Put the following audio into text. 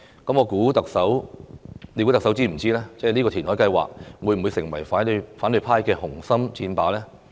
難道特首不知道這個填海計劃會成為反對派的紅心箭靶嗎？